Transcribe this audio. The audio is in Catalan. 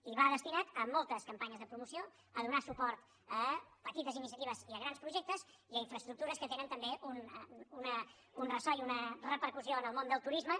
i va destinat a moltes campanyes de promoció a donar suport a petites iniciatives i a grans projectes i a infraestructures que tenen també un ressò i una repercussió en el món del turisme